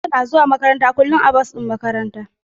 Hafsa na zuwa makaranta kullum a bas din makaranta.